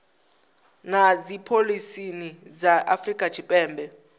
na dzipholisi dza afrika tshipembe